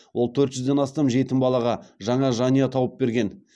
ол төрт жүзден астам жетім балаға жаңа жанұя тауып берген